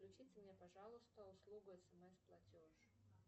включите мне пожалуйста услугу смс платеж